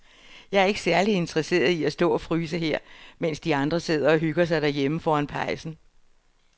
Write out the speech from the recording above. Jeg er ikke særlig interesseret i at stå og fryse her, mens de andre sidder og hygger sig derhjemme foran pejsen.